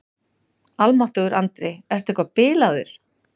Almáttugur Andri, ertu eitthvað bilaður?